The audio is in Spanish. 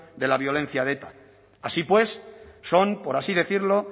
de la violencia de eta así pues son por así decirlo